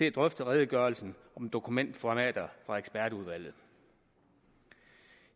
at drøfte redegørelsen om dokumentformater fra ekspertudvalget